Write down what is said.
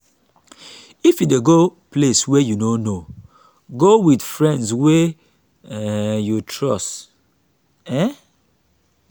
if you dey go place wey you no know go wit friend wey um you trust. um